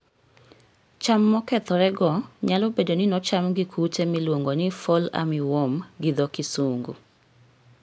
Cham mokethorego nyalobedo ni nocham gi kute miluongo ni Fall army worm gi dho kisungu.